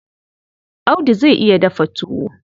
Audu zai iya dafa tuwo.